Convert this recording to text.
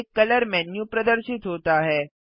एक colour menu प्रदर्शित होता है